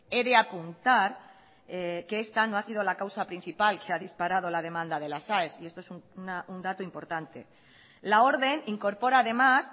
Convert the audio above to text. he de apuntar que esta no ha sido la causa principal que ha disparado la demanda de las aes y esto es un dato importante la orden incorpora además